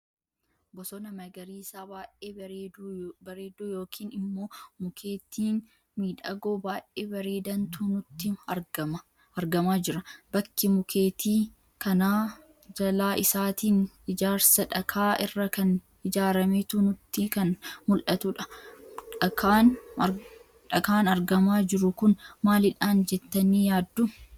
Bosona magariisa baay'ee bareeduu yookiin immoo mukeetii miidhagoo baay'ee bareedantu nutti argama jira. Bakki mukeeti kana jalaa isaatiin ijaarsa dhakaa irra kan ijaarameetu nutti kan muldhatudha. dhakaan argaama jiru kun maaliidha jettani yaaddu?